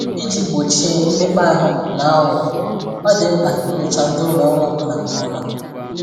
Iji gbochie mmekpa ahụ na aghụghọ, ọ dị mkpa inyocha ndị ụlọ ọrụ ọbụla nke ọma